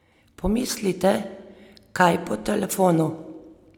Pomislite, kar po telefonu!